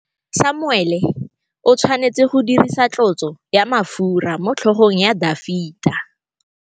Samuele o tshwanetse go dirisa tlotsô ya mafura motlhôgong ya Dafita.